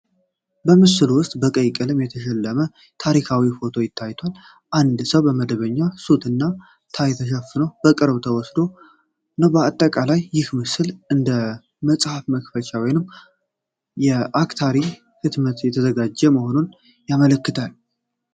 በምስሉ ውስጥ በቀይ ቀለም የተሸለመ የታሪክ ፎቶ ታይቷል። አንድ ሰው በመደበኛ ሱትና ታይ ተሸፍኖ በቅርብ ተወስዶ ነው። በአጠቃላይ ይህ ምስል እንደ መጽሐፍ መክፈቻ ወይም የአስታሪ ህትመት የተዘጋጀ መሆኑን ያመለክታል።